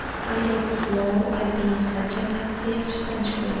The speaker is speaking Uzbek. Aleks Lou alpinistlar jamiyatiga yaxshi tanish bo‘lgan.